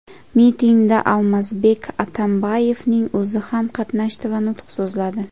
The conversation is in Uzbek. Mitingda Almazbek Atambayevning o‘zi ham qatnashdi va nutq so‘zladi.